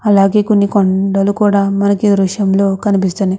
అలాగే కొన్ని కొండలు కూడా ఉన్నాయి ఈ దృశ్యం లో కనిపిస్తున్నాయి.